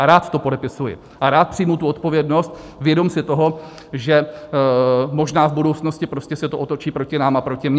A rád to podepisuji a rád přijmu tu odpovědnost vědom si toho, že možná v budoucnosti prostě se to otočí proti nám a proti mně.